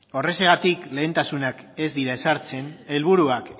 horrexegatik lehentasunak ez dira ezartzen helburuak